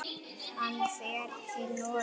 Hann fer til Noregs.